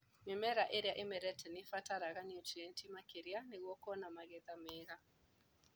Mimera ĩria ĩmerete nĩibataraga nutrienti makĩria nĩguo kuona magetha mega.